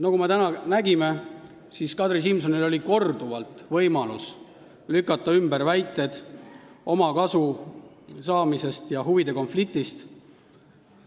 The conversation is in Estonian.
Nagu me täna nägime, Kadri Simsonil oli korduvalt võimalus lükata ümber väited omakasu saamise ja huvide konflikti kohta.